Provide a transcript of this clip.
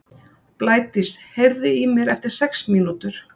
Blædís, heyrðu í mér eftir sex mínútur.